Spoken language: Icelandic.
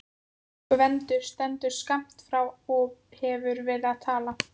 Gvendur stendur skammt frá og hefur verið að tala.